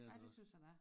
Ja det synes a der er